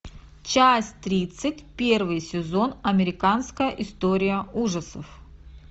часть тридцать первый сезон американская история ужасов